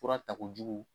Fura takojugu